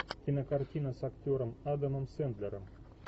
кинокартина с актером адамом сэндлером